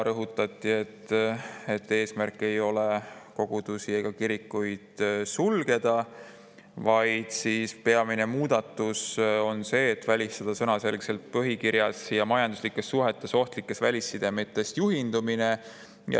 Rõhutati, et eesmärk ei ole kogudusi ja kirikuid sulgeda, vaid peamine muudatus on see, et välistada sõnaselgelt põhikirjas ja majanduslikes suhetes ohtlikest välissidemetest juhindumine.